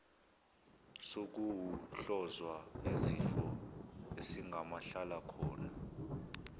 sokuwohlozwa yisifo esingamahlalakhona